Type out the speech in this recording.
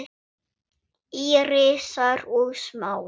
Írisar og Smára.